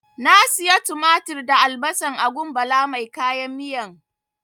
Na siya tumatir da albasan a gun Bala mai kayan miyan.